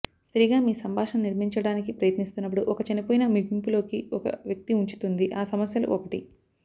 సరిగా మీ సంభాషణ నిర్మించడానికి ప్రయత్నిస్తున్నప్పుడు ఒక చనిపోయిన ముగింపు లోకి ఒక వ్యక్తి ఉంచుతుంది ఆ సమస్యలు ఒకటి